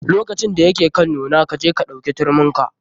Lokacin da ya ke kan nuna, kaje ka ɗauke turmin ka.